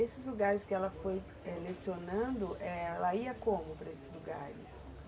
Esses lugares que ela foi eh, lecionando, ela ia como, eh, para esses lugares?